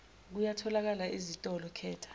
kuyatholakala ezitolo khetha